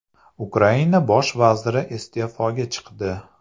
Ukraina bosh vaziri iste’foga chiqdi .